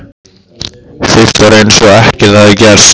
Fyrst var eins og ekkert hefði gerst.